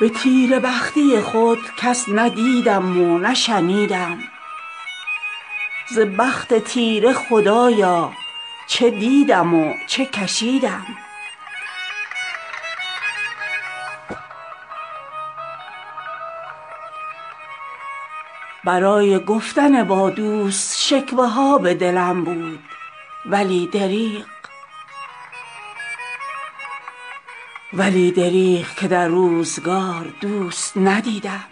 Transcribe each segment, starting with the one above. به تیره بختی خود کس نه دیدم و نه شنیدم ز بخت تیره خدایا چه دیدم و چه کشیدم برای گفتن با دوست شکوه ها به دلم بود ولی دریغ که در روزگار دوست ندیدم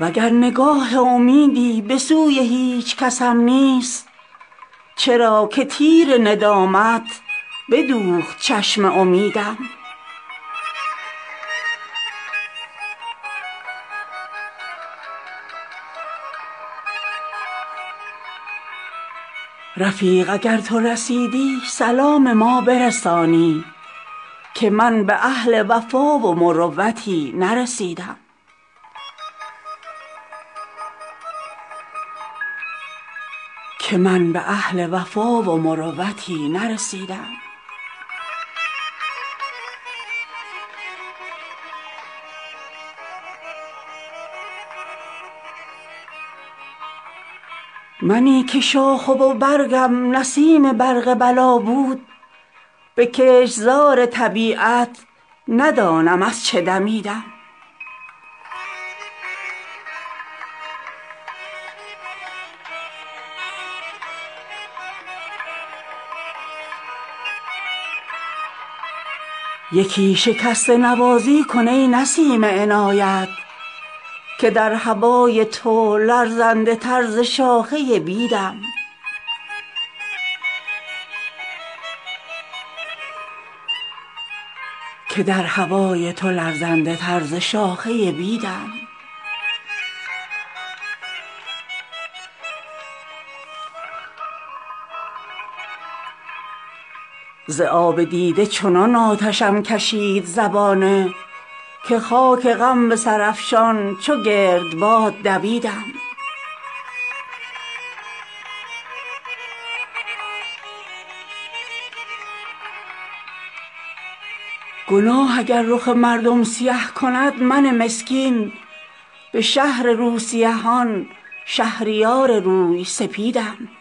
وگر نگاه امیدی به سوی هیچکسم نیست چرا که تیر ندامت بدوخت چشم امیدم به غیر دام ندیدم به هر کسی که شدم رام دگر چو طایر وحشی ز آب و دانه رمیدم رفیق اگر تو رسیدی سلام ما برسانی که من به اهل وفا و مروتی نرسیدم منی که شاخه و برگم نصیب برق بلا بود به کشتزار طبیعت ندانم از چه دمیدم یکی شکسته نوازی کن ای نسیم عنایت که در هوای تو لرزنده تر ز شاخه بیدم ز آب دیده چنان آتشم کشید زبانه که خاک غم به سرافشان چو گرد باد دویدم گناه اگر رخ مردم سیه کند من مسکین به شهر روسیهان شهریار روی سپیدم